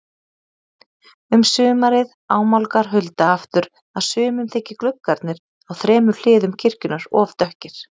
Um sumarið ámálgar Hulda aftur að sumum þyki gluggarnir á þremur hliðum kirkjunnar of dökkir.